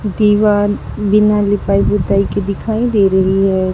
दीवाल बिना लीपाई पुताई के दिखाई दे रही है।